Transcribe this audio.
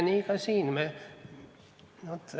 Nii ka siin.